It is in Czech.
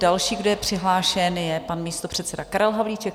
Další, kdo je přihlášen, je pan místopředseda Karel Havlíček.